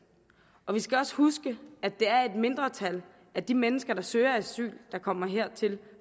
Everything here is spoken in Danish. og vi skal også huske at det er et mindretal af de mennesker der søger asyl der kommer hertil